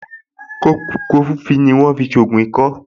Kọfufíì ni wọ́n fi ń ṣògùn ikọ́